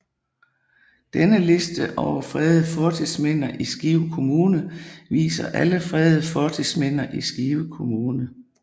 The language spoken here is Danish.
Denne liste over fredede fortidsminder i Skive Kommune viser alle fredede fortidsminder i Skive Kommune